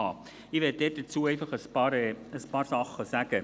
Ich möchte dazu einfach ein paar Sachen sagen.